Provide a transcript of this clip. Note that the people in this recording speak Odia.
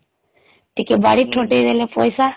ହୁଁ ଟିକେ ବାଡ଼ି ଠୂଟେଇ ଦେଲେ ପଇସା